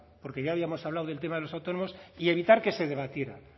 porque ya habíamos hablado del tema de los autónomos y evitar que se debatiera